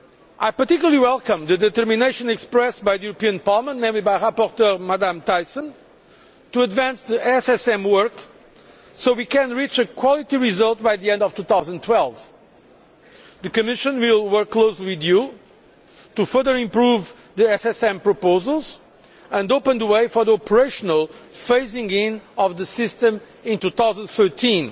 I particularly welcome the determination expressed by Parliament, namely by rapporteur Ms Thyssen, to advance the SSM work so that we can reach a quality result by the end of 2012. The Commission will work closely with you to further improve the SSM proposals and open the way for the operational phasing in of the system in 2013